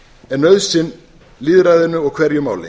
er nauðsyn lýðræðinu og hverju máli